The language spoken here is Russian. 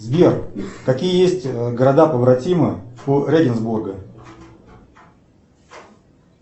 сбер какие есть города побратимы у эдинсбурга